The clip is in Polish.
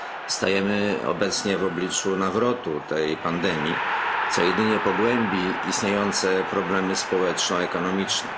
Stajemy obecnie w obliczu nawrotu tej pandemii, co jedynie pogłębi istniejące problemy społeczno ekonomiczne.